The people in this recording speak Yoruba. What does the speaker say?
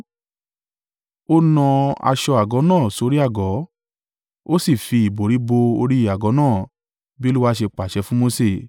Ó na aṣọ àgọ́ náà sórí àgọ́, ó sì fi ìbòrí bo orí àgọ́ náà, bí Olúwa ṣe pàṣẹ fún Mose.